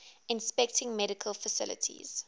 inspecting medical facilities